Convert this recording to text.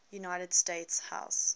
united states house